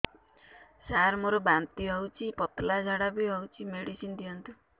ସାର ମୋର ବାନ୍ତି ହଉଚି ପତଲା ଝାଡା ବି ହଉଚି ମେଡିସିନ ଦିଅନ୍ତୁ